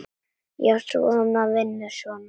Já, svona, vinur, svona!